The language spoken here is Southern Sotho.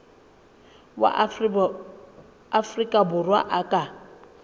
wa afrika borwa a ka